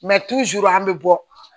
Mɛ an bɛ bɔ